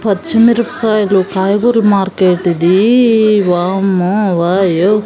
పచ్చిమిరపకాయలు కాయగూర మార్కెట్ ఇదీ వామ్మో వాయ్యో --